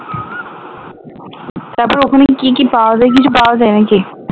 তারপর ওখানে গিয়ে কি কি পাওয়া যায় কিছু পাওয়া যায় নাকি?